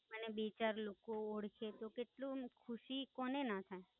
મને બે ચાર લોકો તો કેટલું ખુશી કોને ના થાય?